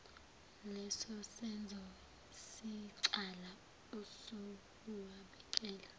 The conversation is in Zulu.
lesosenzo siyicala usuwabikele